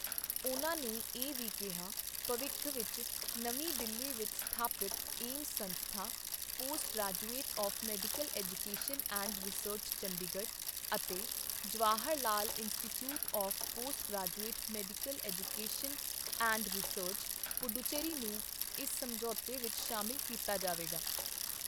ਉਨ੍ਹਾਂ ਨੇ ਇਹ ਵੀ ਕਿਹਾ, ਭਵਿੱਖ ਵਿੱਚ ਨਵੀਂ ਦਿੱਲੀ ਵਿੱਚ ਸਥਾਪਿਤ ਏਮਸ ਸੰਸਥਾਨ, post graduate of medical education and research, Chandigarh ਅਤੇ Jawahar Lal institute of postgraduate medical education and research, Puducherry ਨੂੰ ਇਸ ਸਮਝੌਤੇ ਵਿੱਚ ਸ਼ਾਮਲ ਕੀਤਾ ਜਾਵੇਗਾ।